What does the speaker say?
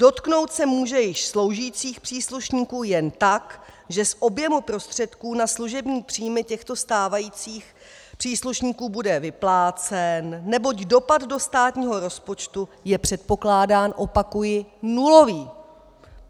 Dotknout se může již sloužících příslušníků jen tak, že z objemu prostředků na služební příjmy těchto stávajících příslušníků bude vyplácen, neboť dopad do státního rozpočtu je předpokládán - opakuji - nulový.